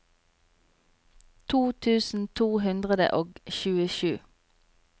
to tusen to hundre og tjuesju